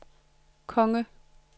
konge